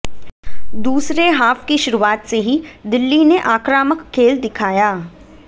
दूसरे हाफ की शुरुआत से ही दिल्ली ने आक्रामक खेल दिखाया